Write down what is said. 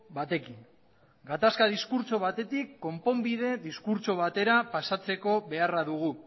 batekin gatazka diskurtso batetik konponbide diskurtso batera pasatzeko beharra dugu